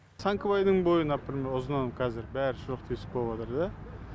сәңкібайдың бойы например ұзыннан қазір бәрі шұрық тесік болыватыр да